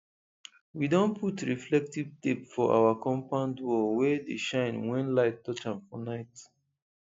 we don put reflective tape for our compound wall wey dey shine when light touch am for night